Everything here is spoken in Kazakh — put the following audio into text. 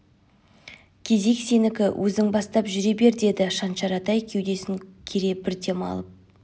кезек сенікі өзің бастап жүре бер деді шаншар атай кеудесін кере бір дем алып